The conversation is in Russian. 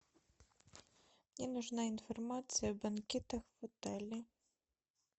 мне нужна информация о банкетах в италии